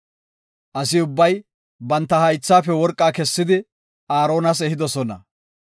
Asi ubbay banta haythafe worqaa kessidi, Aaronas ehidosona.